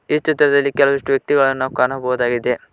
ಈ ಚಿತ್ರದಲ್ಲಿ ಕೆಲವಿಷ್ಟು ವ್ಯಕ್ತಿಗಳನ್ನು ನಾವು ಕಾಣಬಹುದಾಗಿದೆ.